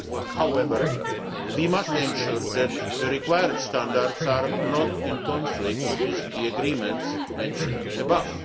However, we must ensure that the required standards are not in conflict with the agreements mentioned above.